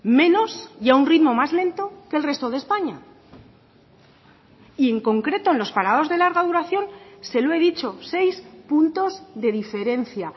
menos y a un ritmo más lento que el resto de españa y en concreto en los parados de larga duración se lo he dicho seis puntos de diferencia